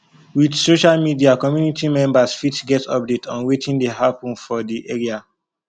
with social media community members fit get update on wetin dey happen for di area